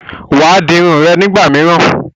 Wàá di Irun rẹ nígbà míràn